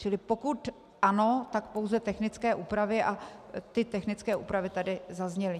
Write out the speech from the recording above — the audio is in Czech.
Čili pokud ano, tak pouze technické úpravy a ty technické úpravy tady zazněly.